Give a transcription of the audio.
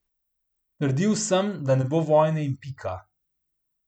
Trdil sem, da ne bo vojne in pika.